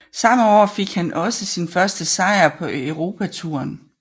Samme år fik han også sin første sejr på europatouren